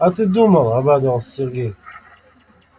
а ты думала обрадовался сергей